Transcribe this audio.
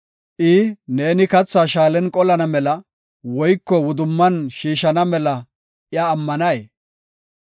Neeni kathaa shaalen qolana mela, woyko wudumman shiishana mela iya ammanay?